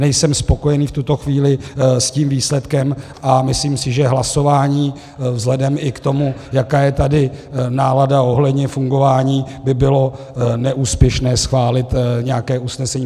Nejsem spokojený v tuto chvíli s tím výsledkem a myslím si, že hlasování i vzhledem k tomu, jaká je tady nálada ohledně fungování, by bylo neúspěšné schválit nějaké usnesení.